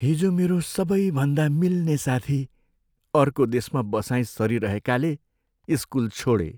हिजो मेरो सबैभन्दा मिल्ने साथी अर्को देशमा बसाइँ सरिरहेकाले स्कुल छोडे।